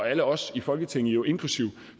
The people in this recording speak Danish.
alle os i folketinget inklusive